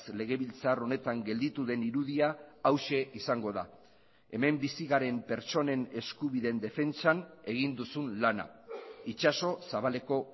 legebiltzar honetan gelditu den irudia hauxe izango da hemen bizi garen pertsonen eskubideen defentsan egin duzun lana itsaso zabaleko